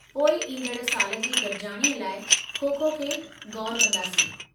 पोइ ईंदड़ साल जी गॾिजाणीअ लाइ खो-खो ते ग़ौरु कंदासीं।